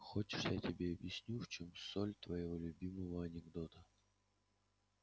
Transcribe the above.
хочешь я тебе объясню в чем соль твоего любимого анекдота